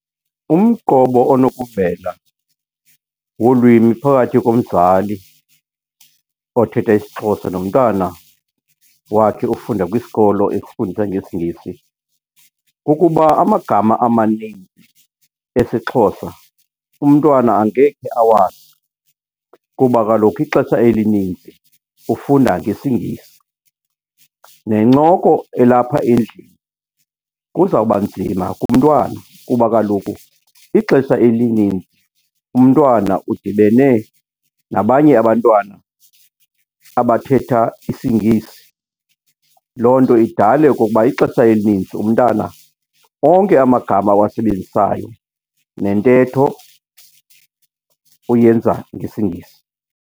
Umqobo onokuvela wolwimi phakathi komzali othetha isiXhosa nomntana wakhe ofunda kwisikolo esifundisa ngesiNgesi kukuba amagama amaninzi esiXhosa umntwana angekhe awazi kuba kaloku ixesha elininzi ufunda ngesiNgesi. Nencoko elapha endlini kuzawuba nzima kumntwana kuba kaloku ixesha elininzi umntwana udibene nabanye abantwana abathetha isiNgesi. Loo nto idale okokuba ixesha elininzi umntana onke amagama awasebenzisayo nentetho uyenza ngesiNgesi.